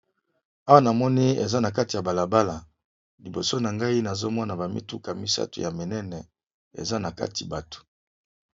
Awa namoni eza na kati ya balabala liboso na ngayi nazomona bamituka misato ya minene eza na kati bato